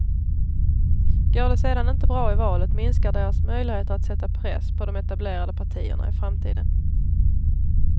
Går det sedan inte bra i valet minskar deras möjligheter att sätta press på de etablerade partierna i framtiden.